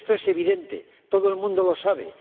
Esto es evidente, todo el mundo lo sabe.